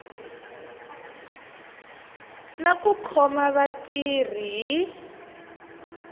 na ku khoma vatirhi hi